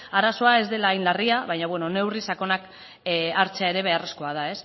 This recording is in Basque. arazoa ez dela hain larria baina beno neurri sakonak hartzea ere beharrezkoa da